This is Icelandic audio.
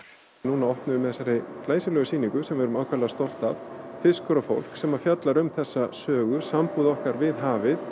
núna opnum við með þessari glæsilegu sýningu sem við erum afar stolt af fiskur og fólk sem fjallar um þessa sögu sambúð okkar við hafið